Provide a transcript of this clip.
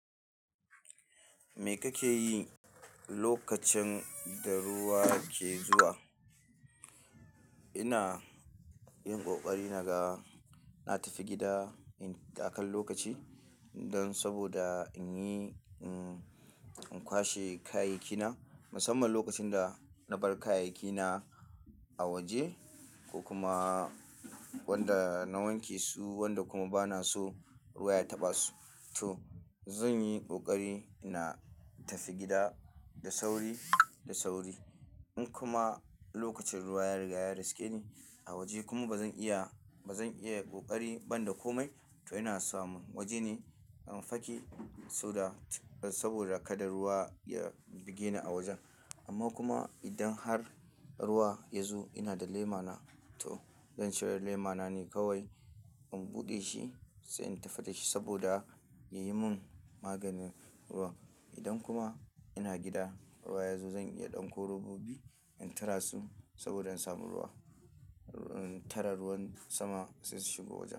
Me kake yi lokacin da ruwa ke zuwa? Ina yin ƙoƙari naga na tafi gida in da kan lokaci don saboda in yi, in kwashe kayayyaki na musamman lokacin da na bar kayayyaki na a waje ko kuma wanda na wanke su wanda kuma ba na so ruwa ya taɓa su. To zan yi ƙoƙari na tafi gida da sauri, da sauri. In kuma lokacin ruwa ya riga ya riske ni a waje kuma ba zan iya, ba zan iya ƙoƙari ban da komai, to ina samu waje ne in faki, saboda kada ruwa ya buge ni a wajen. Amma kuma idan har ruwa ya zo ina da lema na, to zan cire lema na ne kawai in buɗe shi sai in tafi da shi saboda ya yi mun maganin ruwan. Idan kuma ina gida ruwa ya zo zan iya ɗanko robobi in tara su saboda in samu ruwa, in tara ruwan sama sai su shigo wajen.